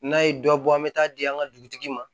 N'a ye dɔ bɔ an bɛ taa di an ka dugutigi ma